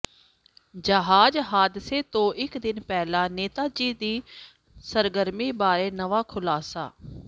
ਜਹਾਜ਼ ਹਾਦਸੇ ਤੋਂ ਇਕ ਦਿਨ ਪਹਿਲਾਂ ਨੇਤਾਜੀ ਦੀ ਸਰਗਰਮੀ ਬਾਰੇ ਨਵਾਂ ਖੁਲਾਸਾ